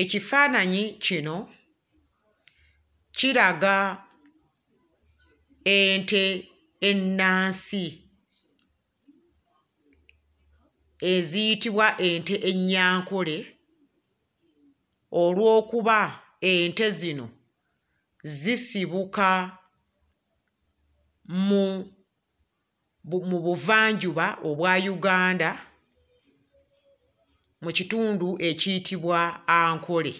Ekifaananyi kino kiraga ente ennansi eziyitibwa ente ennyankole olw'okuba ente zino zisibuka mu bu... mu buvanjuba obwa Uganda mu kitundu ekiyitibwa Ankole;